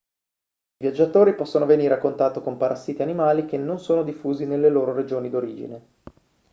i viaggiatori possono venire a contatto con parassiti animali che non sono diffusi nelle loro regioni d'origine